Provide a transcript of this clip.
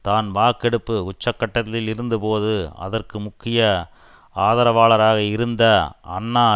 தான் வாக்கெடுப்பு உச்சக்கட்டத்தில் இருந்தபோது அதற்கு முக்கிய ஆதரவாளராக இருந்த அன்னா